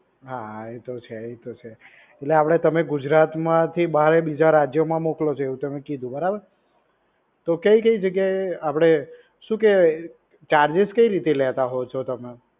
હા ઈતો છે ઈતો છે એટલે આપડે તમે ગુજરાતમાંથી બારના બીજા રાજ્યમાં મોકલો છો એવું તમે કીધું બરોબર? તો કય કય જગ્યાએ આપડે શું કેય charges કઈ રીતના લેતા હોવ છો તમે?